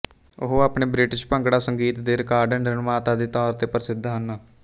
ਉਹ ਆਪਣੇ ਬ੍ਰਿਟਿਸ਼ ਭੰਗੜਾ ਸੰਗੀਤ ਦੇ ਰਿਕਾਰਡ ਨਿਰਮਾਤਾ ਦੇ ਤੋਰ ਤੇ ਪ੍ਰਸਿਧ ਹਨ